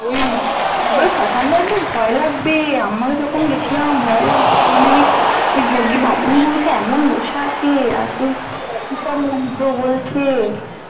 উম ওই শ্মশান টাই তো তো ভয় লাগবে আমরা যখন গেছিলাম ভয় লাগছিলো মানে ওই ওই যোগী ব্রাহ্মণগুলো সেই এমন বসে আছে আর সেই কি সব মন্ত্র বলছে